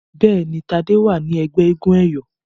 Béèni Tade wá ní ègbé éégun eyọ.